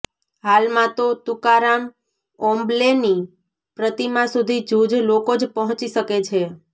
હાલમાં તો તુકારામ ઓમ્બલેની પ્રતિમા સુધી જૂજ લોકો જ પહોંચી શકે છે